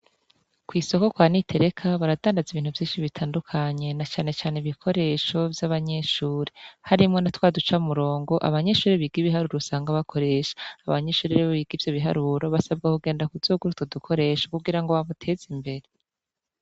Kw'isoko kwa Nitereka baradandaza ibintu vyinshi bitandukanye na cane cane ibikoresho vyabanyeshure harimwo natwa duca murongo abanyeshure biga ibiharuro usanga bakoresha, abanyeshure rero biga ivyo biharuro basabga kuzogenda kugura utwo dukoresho kugira bamuteze imbere.